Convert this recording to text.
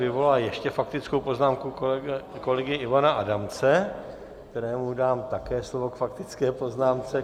Vyvolala ještě faktickou poznámku kolegy Ivana Adamce, kterému dám také slovo k faktické poznámce.